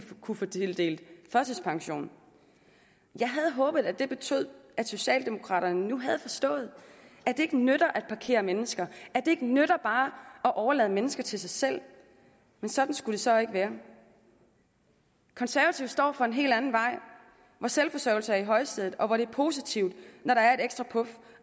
kunne få tildelt førtidspension jeg havde håbet at det betød at socialdemokraterne nu havde forstået at det ikke nytter at parkere mennesker at det ikke nytter bare at overlade mennesker til sig selv men sådan skulle det så ikke være konservative står for en helt anden vej hvor selvforsørgelse er i højsædet og hvor det er positivt når der er et ekstra puf